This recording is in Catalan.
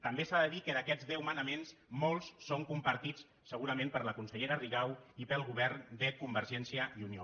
també s’ha de dir que d’aquests deu manaments molts són compartits segurament per la consellera rigau i pel govern de convergència i unió